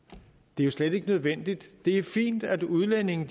det jo slet ikke er nødvendigt det er fint at udlændinge